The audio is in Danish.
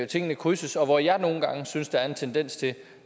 tingene krydses og hvor jeg nogle gange synes der er en tendens til